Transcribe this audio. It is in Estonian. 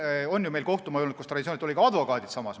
Meil on ju olnud kohtumaju, kus olid ka advokaadid.